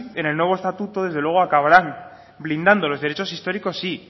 en el nuevo estatuto desde luego acabarán blindando los derechos históricos sí